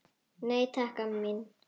Nei, takk, amma mín.